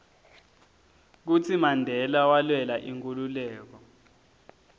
kutsi mandela walwela inkhululeko